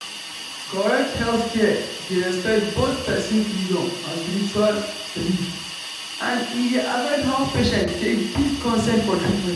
correct healthcare dey respect both person freedom and spiritual belief and e dey affect how patient take give consent for treatment